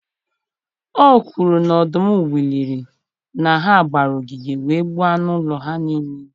O kwuru na ọdụm wụliri na ha gbara ogige wee gbuo anụ ụlọ ha niile.